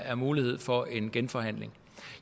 er mulighed for en genforhandling